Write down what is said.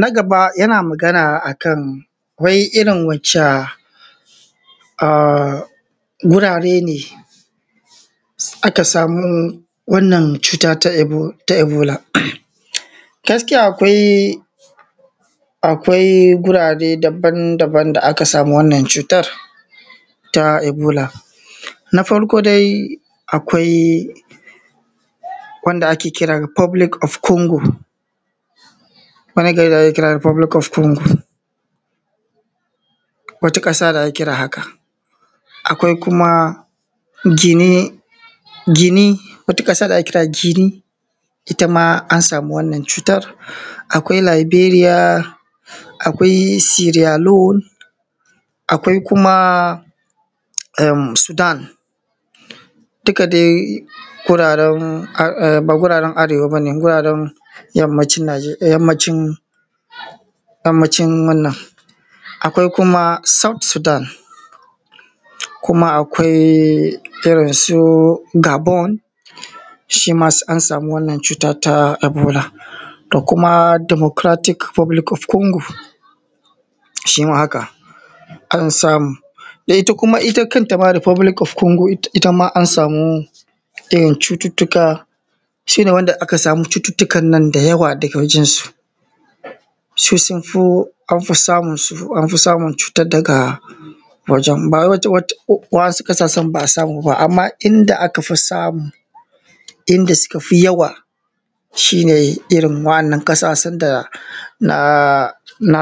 Na gaba yana magana akan wai irin wacca gurare ne aka samo wannan cuta ta ebola? Gaskiya akwai gurare daban-daban da aka samu wannan cuta ta ebola, na farko dai akwai wanda ake kira da Republic of Congo wata ƙasa da ake kira haka, akwai kuma Guinea wata ƙasa da ake kira Ginea it ama an samu wannan cutar. Akwai Liberia, akwai Bilsiriyalo, akwai kuma Sudan duka dai ba guraran arewa ba ne. Guraran yammacin wannan akwai kuma South Sudan, kuma akwai irin su Gabon shi ma an samu wananan cutan ta ebola da kuma Democratic Republic of Congo shima haka, an samu da ita kuma kanta Republic of Congo itama an samu irin cututtuka shi ne wanda aka samu cututtukan nan da yawa daga wajen su su sun fi, an fi samun cutan daga wajan ba wai ba su san ba a samu ba. Amma in da aka fi samu inda suka fi yawa su ne irin waɗannan ƙasashen da na